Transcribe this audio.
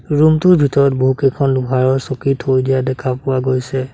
Room টোৰ ভিতৰত বহুকেইখন লোহাৰৰ চকী থৈ দিয়া দেখা পোৱা গৈছে।